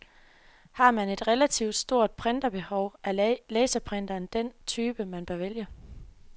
Har man et relativt stort printerbehov, er laserprinteren nok den type, man bør vælge.